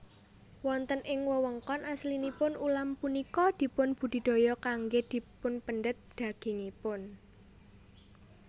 Wonten ing wewengkon aslinipun ulam punika dipun budidaya kanggé dipunpendhet dagingipun